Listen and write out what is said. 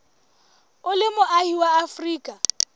o le moahi wa afrika